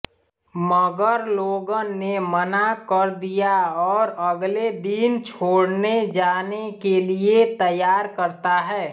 मगर लोगन ने मना कर दिया और अगले दिन छोड़नेजाने के लिए तैयार करता है